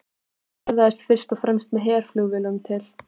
Hann ferðaðist fyrst með herflugvélum til